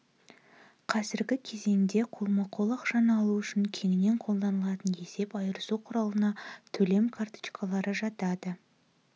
қазіргі кезеңде қолма-қол ақшаны алу үшін кеңінен қолданылатын есеп айырысу құралына төлем карточкалары жатады